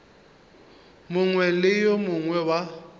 mongwe le yo mongwe wa